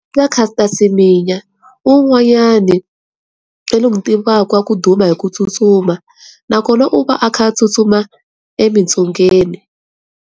Va Caster Semenya i un'wayana loyi ni n'wi tivaka wa ku duma hi ku tsutsuma nakona u va a kha a tsutsuma emitsungeni.